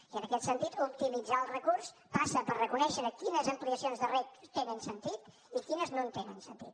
i en aquest sentit optimitzar el recurs passa per reconèixer quines ampliacions de reg tenen sentit i quines no tenen sentit